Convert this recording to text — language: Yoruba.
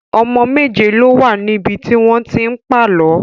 Ọmọ méje ló wà níbi tí wọ́n ti ń pàlọ́